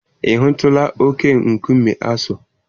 Ị hụtụla oke-nkume Aso